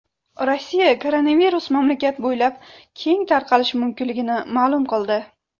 Rossiya koronavirus mamlakat bo‘ylab keng tarqalishi mumkinligini ma’lum qildi.